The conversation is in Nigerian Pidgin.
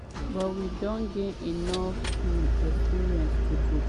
“we get di talent experience and di players wey fit take us to di world cup" e tok.